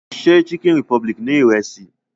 Ṣé Chicken republic ni Ìrẹ́sì?